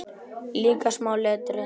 Líka smáa letrið.